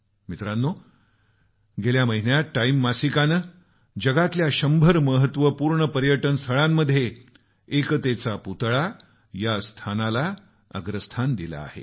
मित्रांनो गेल्या महिन्यात टाईम मासिकानं जगातल्या 100 महत्वपूर्ण पर्यटन स्थळांमध्ये एकतेचा पुतळा या स्थानाला अग्रस्थान दिलं आहे